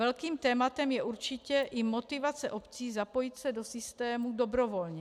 Velkým tématem je určitě i motivace obcí zapojit se do systému dobrovolně.